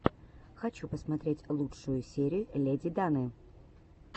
хочу посмотреть лучшую серию леди даны